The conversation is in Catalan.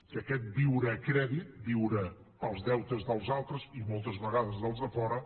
que aquest viure a crèdit viure pels deutes dels altres i moltes vegades dels de fora